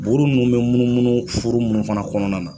Buuru munnu be munnumunnu fuuru munnu fana kɔnɔna na